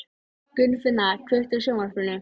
Gunnfinna, kveiktu á sjónvarpinu.